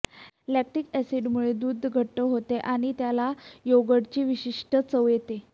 lactic अॅसीडमुळे दुध घट्ट होते आणि त्याला योगर्टची विशिष्ट चव येते